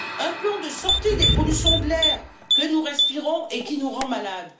Un plan de sortie des pollutions de l'air que nous respirons et qui nous rend malade.